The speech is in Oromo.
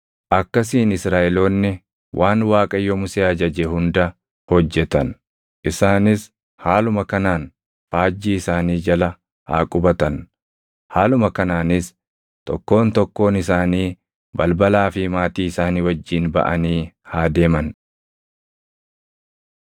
Akkasiin Israaʼeloonni waan Waaqayyo Musee ajaje hunda hojjetan; isaanis haaluma kanaan faajjii isaanii jala haa qubatan; haaluma kanaanis tokkoon tokkoon isaanii balbalaa fi maatii isaanii wajjin baʼanii haa deeman.